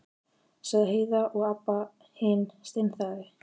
sagði Heiða og Abba hin steinþagnaði.